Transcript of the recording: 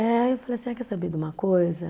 Eh, aí eu falei assim, ah quer saber de uma coisa?